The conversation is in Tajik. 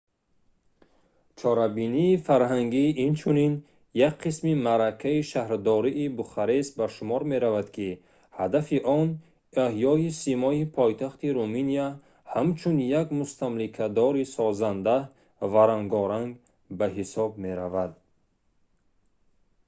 чорабинии фарҳангӣ инчунин як қисми маъракаи шаҳрдории бухарест ба шумор меравад ки ҳадафи он эҳёи симои пойтахти руминия ҳамчун як мустамликадори созанда ва рангоранг ба ҳисоб меравад